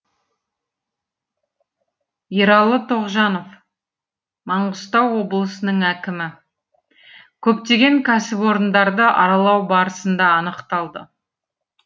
ералы тоғжанов маңғыстау облысының әкімі көптеген кәсіпорындарды аралау барысында анықталды